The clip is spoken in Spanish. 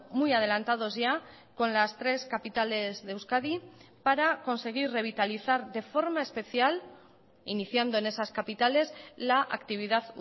muy adelantados ya con las tres capitales de euskadi para conseguir revitalizar de forma especial iniciando en esas capitales la actividad